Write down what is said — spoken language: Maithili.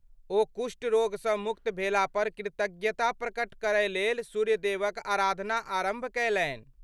ओ कुष्ठ रोगसँ मुक्त भेलापर कृतज्ञता प्रकट करयलेल सूर्य देवक आराधना आरम्भ कयलनि।